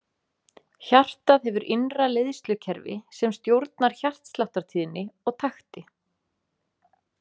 Hjartað hefur innra leiðslukerfi sem stjórnar hjartsláttartíðni og takti.